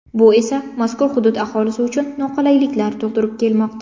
Bu esa, mazkur hudud aholisi uchun noqulayliklar tug‘dirib kelmoqda.